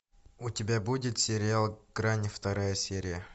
у тебя будет сериал грань вторая серия